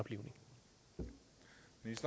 hvis